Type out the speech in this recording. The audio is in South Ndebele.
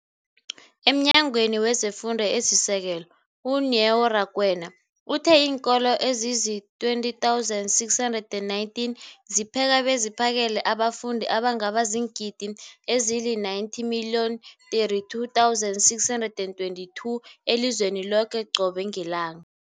EmNyangweni wezeFundo esiSekelo, u-Neo Rakwena, uthe iinkolo ezizi-20 619 zipheka beziphakele abafundi abangaba ziingidi ezili-90 032 622 elizweni loke qobe ngelanga.